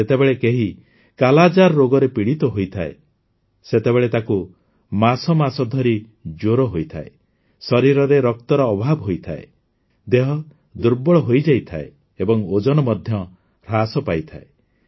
ଯେତେବେଳେ କେହି କାଲାଜାର ରୋଗରେ ପୀଡିତ ହୋଇଥାଏ ସେତେବେଳେ ତାକୁ ମାସ ମାସ ଧରି ଜ୍ୱର ହୋଇଥାଏ ଶରୀରରେ ରକ୍ତର ଅଭାବ ହୋଇଥାଏ ଦେହ ଦୁର୍ବଳ ହୋଇଯାଇଥାଏ ଏବଂ ଓଜନ ମଧ୍ୟ ହ୍ରାସ ପାଇଥାଏ